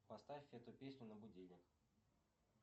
поставь эту песню на будильник